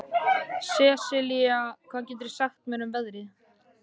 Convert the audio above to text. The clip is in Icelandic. Sesilía, hvað geturðu sagt mér um veðrið?